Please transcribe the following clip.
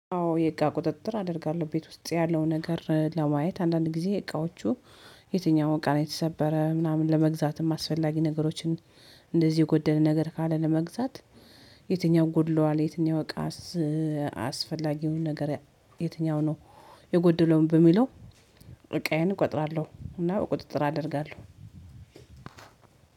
አዎ የእቃ ቁጥጥር አደርጋለሁ ቤት ውስጥ ያለው ነገር ለማየት አንዳንድ ጊዜ እቃዎቹ። የትኛውን እቃ የተሰበረ ምናምን ለመግዛትም አስፈላጊ ነገሮችን እንደዚህ የጎደለ ነገር ካለ ለመግዛት። የትኛው ጎድሏል የትኛው እቃ? አስፈላጊውን ነገር የትኛው ነው? የጎድለውን በሚለው እቆጥራለሁ እና ቁጥጥር አደርጋለሁ።